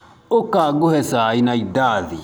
ũka ngũhe cai na indathi.